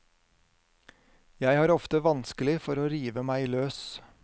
Jeg har ofte vanskelig for å rive meg løs.